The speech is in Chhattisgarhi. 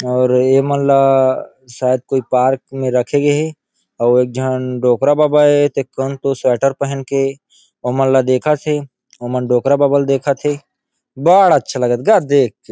और ये मन ला शायद कोई पार्क मे रखे गे हे और झन डोकरा बाबा हे ते स्वेटर पहन के ओ मन ला देखत हे ओ मन डोकरा बबा ल देखत हे बड़ा अच्छा लगत हे ग देख के।